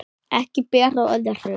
Ekki ber á öðru